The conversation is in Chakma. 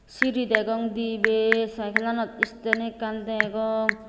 siri degong dibe cycle anot stand ekkan degong.